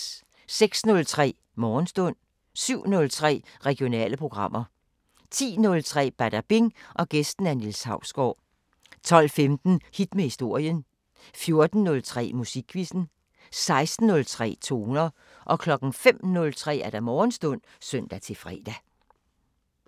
06:03: Morgenstund 07:03: Regionale programmer 10:03: Badabing: Gæst Niels Hausgaard 12:15: Hit med historien 14:03: Musikquizzen 16:03: Toner 05:03: Morgenstund (søn-fre)